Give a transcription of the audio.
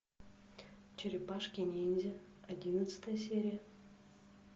черепашки ниндзя одиннадцатая серия